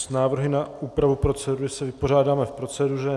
S návrhy na úpravu procedury se vypořádáme v proceduře.